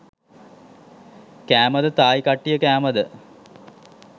කෑමද තායි කට්ටිය කෑමද?